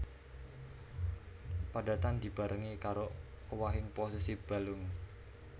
Padatan dibarengi karo owahing posisi balung